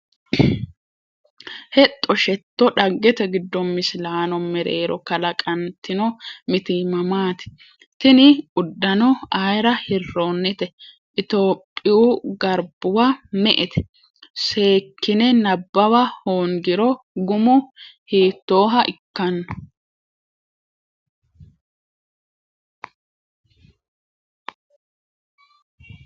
Hexxo Shetto Dhaggete giddo misilaano mereero kalaqantino mitiimma maati? Tini uddano ayra hirroonnite? Itophiyaho garbuwa me”ete? Seekkine nabbawa hoongiro gumu hiittooha ikkanno?